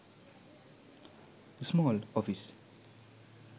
small office